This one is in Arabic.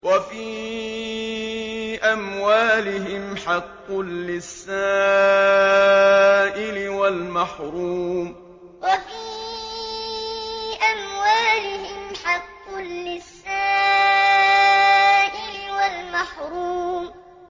وَفِي أَمْوَالِهِمْ حَقٌّ لِّلسَّائِلِ وَالْمَحْرُومِ وَفِي أَمْوَالِهِمْ حَقٌّ لِّلسَّائِلِ وَالْمَحْرُومِ